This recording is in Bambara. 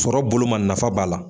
Sɔrɔ bolo ma ,nafa b'a la.